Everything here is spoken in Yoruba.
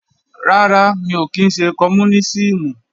Rárá, mi ò kí ńṣe oní kọmúnísìmù